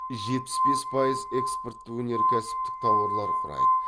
жетпіс бес пайыз экспортты өнеркәсіптік тауарлар құрайды